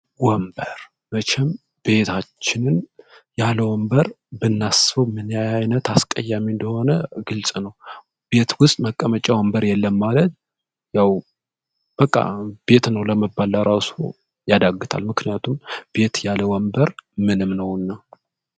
ወንበር መቸም ቤታችንን ያለወንበር ብናስበው ምን አይነት አስቀያሚ እንደሆነ ግልጽ ነው። ቤት ውስጥ መቀመጫ የለም ማለት ያው በቃ ቤትነው ለማለት ራሱ ያዳግታል። ምክንያቱም ቤት ያለወንበር ምንም ነው።